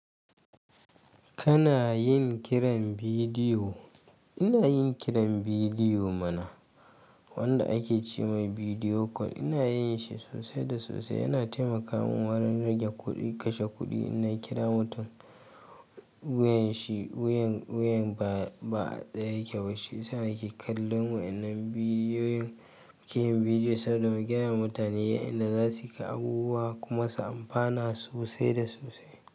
Kana yin kiran bidiyo? Ina yin kiran bidiyo mana wanda ake ce mai bidiyo call. Ina yin shi sosai da sosai. Yana taimaka min wurin rage kuɗi, kashe kuɗi. In na kira mutum wuyan shi, wuyan, wuyan ba a tsaye yake ba. Shi sa yake kallon wa. Nan bidiyoyin, ke bidiyo saboda mu gaya wa mutane inda za su ka abubuwa kuma su amfana sosai da sosai.